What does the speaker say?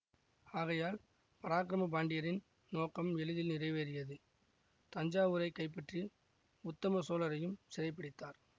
ஆகையால் பராக்கிரம பாண்டியரின் நோக்கம் எளிதில் நிறைவேறியது தஞ்சாவூரைக் கைப்பற்றி உத்தம சோழரையும் சிறைப்பிடித்தார்